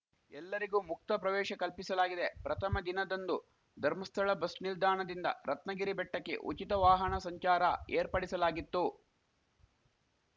ಎಲ್ಲರಿಗೂ ಮುಕ್ತ ಪ್ರವೇಶ ಕಲ್ಪಿಸಲಾಗಿದೆ ಪ್ರಥಮ ದಿನದಂದು ಧರ್ಮಸ್ಥಳ ಬಸ್‌ ನಿಲ್ದಾಣದಿಂದ ರತ್ನಗಿರಿ ಬೆಟ್ಟಕ್ಕೆ ಉಚಿತ ವಾಹಣ ಸಂಚಾರ ಏರ್ಪಡಿಸಲಾಗಿತ್ತು